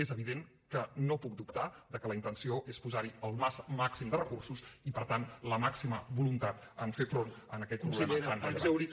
és evident que no puc dubtar de que la intenció és posar hi el màxim de recursos i per tant la màxima voluntat en fer front a aquest problema tan rellevant